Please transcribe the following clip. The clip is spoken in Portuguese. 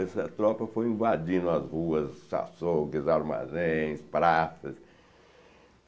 Essa tropa foi invadindo as ruas, açougues, armazéns, praças.